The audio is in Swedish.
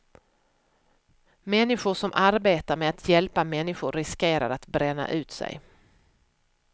Människor som arbetar med att hjälpa människor riskerar att bränna ut sig.